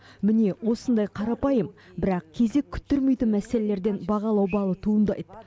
міне осындай қарапайым бірақ кезек күттірмейтін мәселелерден бағалау балы туындайды